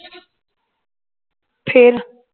ਫੇਰ